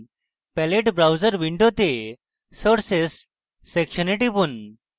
palette browser window sources সেকশনে টিপুন